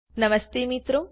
નમસ્તે મિત્રો